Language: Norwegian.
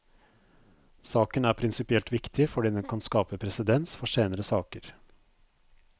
Saken er prinsipielt viktig fordi den kan skape presedens for senere saker.